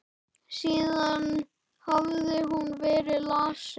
Síðan hafði hún verið lasin.